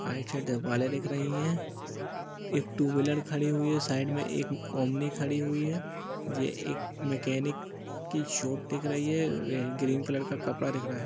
आइड side दवालें दिख रही हैं। एक टू व्हीलर खड़ी हुई है। साइड में एक ओमनी खड़ी हुई है। जे एक मेकेनिक की शॉप दिख रही है। ग्रीन कलर का कपड़ा दिख रहा है।